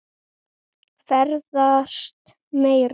Ferðast meira.